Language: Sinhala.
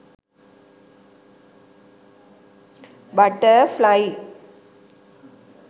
butterfly